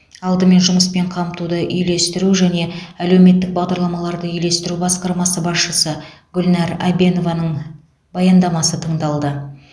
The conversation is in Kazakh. алдымен жұмыспен қамтуды үйлестіру және әлеуметтік бағдарламаларды үйлестіру басқармасы басшысы гүлнар әбенованың баяндамасы тыңдалды